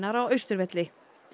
á Austurvelli